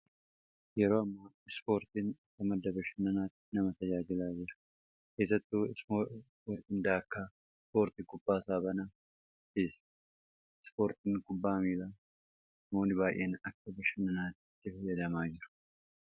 Yeroo ammaa ispoortiin madda bashannanaaf nama tajaajilaa jira. Keessattuu ispoortii akka kubbaa saaphanaa fi kubbaa miilaa namoonni baay'een akka bashannanaatti itti gargaaramaa jiru.